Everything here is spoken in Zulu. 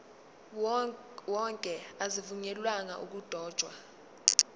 wonke azivunyelwanga ukudotshwa